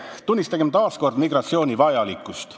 "Tunnistagem taas kord migratsiooni vajalikkust.